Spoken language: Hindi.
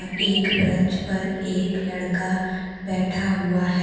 एक ब्रेंच पर एक लड़का बैठा हुआ है।